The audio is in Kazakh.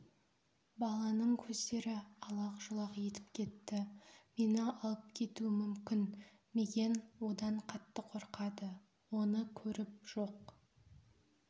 баланың көздері алақ-жұлақ етіп кетті мені алып кетуі мүмкін мигэн одан қатты қорқады оны көріп жоқ